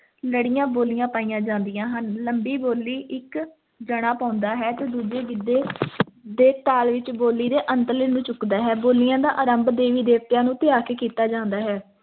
ਲੜੀਆਂ ਬੋਲੀਆਂ ਪਾਈਆਂ ਜਾਂਦੀਆਂ ਹਨ, ਲੰਬੀ ਬੋਲੀ ਇੱਕ ਜਾਣਾ ਪਾਉਂਦਾ ਹੈ ਤੇ ਦੂਜੇ ਗਿੱਧੇ ਦੇ ਤਾਲ ਵਿੱਚ ਬੋਲੀ ਦੇ ਅੰਤਲੇ ਨੂੰ ਚੁੱਕਦਾ ਹੈ ਬੋਲੀਆਂ ਦਾ ਆਰੰਭ ਦੇਵੀ ਦਵਤਿਆਂ ਨੂੰ ਧਿਆ ਕੇ ਕੀਤਾ ਜਾਂਦਾ ਹੈ,